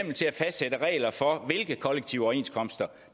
fastsætte regler for hvilke kollektive overenskomster